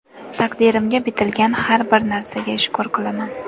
Taqdirimga bitilgan har bir narsaga shukr qilaman.